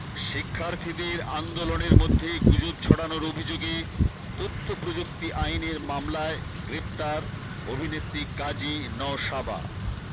শিক্ষার্থীদের আন্দোলনের মধ্যে গুজব ছড়ানোর অভিযোগে তথ্য প্রযুক্তি আইনের মামলায় গ্রেপ্তার অভিনেত্রী কাজী নওশাবা